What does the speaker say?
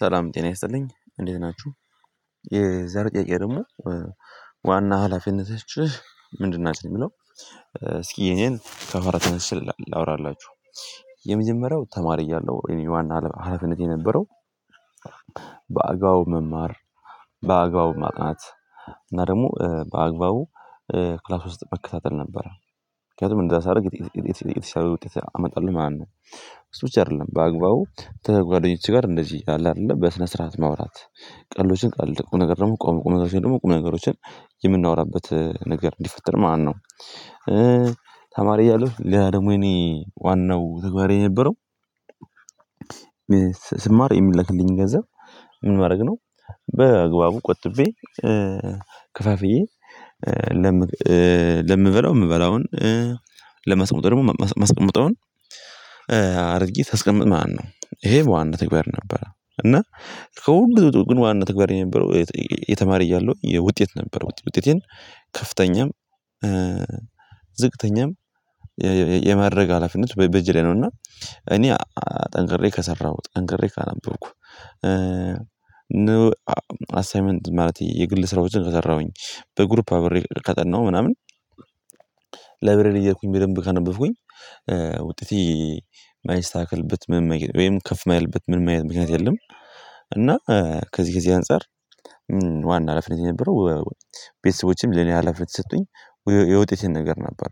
ሰላም ጤና ይስልኝ እንዴት ናችሁ የዛሬው ጥያቄ ደግሞ ዋና ሀላፊነቶችህ ምንድን ናቸው? ነው የሚለው። እስኪ ይሄን ከኋላ ተነስቼ ላውራላችሁ። የመጀመሪያው ተማሪ እያለሁ የኔ ዋና ሀላፊነት የነበረው በአግባቡ መማር በአግባቡ ማቅናት እና ደግሞ በአግባቡ ክላስ ውስጥ መከታተል ነበር። ምክንያቱም እንደዛ ሳደርግ የተሻለ ውጤት አመጣለሁ ማለት ነው። እሱ ብቻ አይደለም። በአግባቡ ተጓደኞች ጋር እንደዚህ አለ አይደለ በስነ ስርዓት ማውራት ቀልዶችን ቀልድ ቁም ነገር ደግሞ ቁም ነገሮችን ደግሞ ቁም ነገሮችን የምናወራበት ነገር እንዲፈጥር ማለት ነው። ተማሪ እያለሁ ሌላ ደግሞ የኔ ዋናው ተግባሬ የነበረው ስማር የሚላክልኝን ገንዘብ ምን ማድረግ ነው በአግባቡ ቆጥቤ ክፋፍዬ ለምበላው ምበላውን ለማስቀምጠው ደግሞ ማስቀምጠውን አድርጌ ሳስቀምጥ ማለት ነው። ይሄ ዋና ተግባሬ ነበረ። እና ከሁሉ የበለጠ ግን ዋና ተግባሬ የነበረው የተማሪ እያለሁ የውጤት ነበር። ውጤቴን ከፍተኛም ዝቅተኛም የማድረግ ሀላፊነት በእጄ ላይ ነው። እና እኔ ጠንክሬ ከሰራሁት ጠንክሬ ካነበብኩ አሳይመንት ማለት የግል ስራዎችን ከሰራሁኝ በግሩፕ አብሬ ካጠናሁ ምናምን ላይብራሪ እየሄድኩኝ በደንብ ካነበብኩኝ ውጤቴ የማይስተካከልበት ምን ነገር ወይም ከፍ የማይልበት ምን አይነት ምክንያት የለም። እና ከዚህ ከዚህ አንፃር ዋና ሀላፊነት የነበረው ቤተሰቦቼም ለኔ ሀላፊነት የሰጡኝ የውጤቴን ነገር ነበረ።